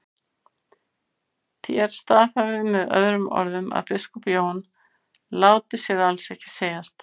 Þér staðhæfið með öðrum orðum að biskup Jón láti sér alls ekki segjast.